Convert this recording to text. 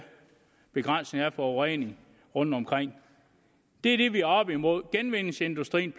begrænsning af forureningen rundtomkring det er det vi er oppe imod genvindingsindustrien